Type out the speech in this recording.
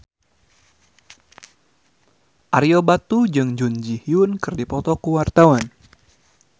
Ario Batu jeung Jun Ji Hyun keur dipoto ku wartawan